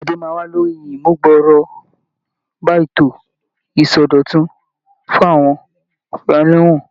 Ìpàdé máa wà lórí ìmúgbòrò bá ètò ìsọdọ̀tun fún àwọn ẹlẹ́wọ̀n.